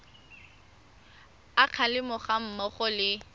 a kgalemo ga mmogo le